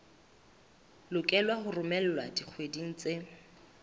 lokelwa ho romelwa dikgweding tse